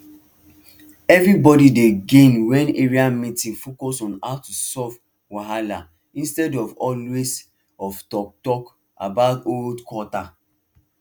everybody dey gain when area meeting focus on how to solve wahala instead of always of talktalk about old quata